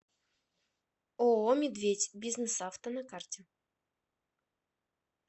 ооо медведь бизнесавто на карте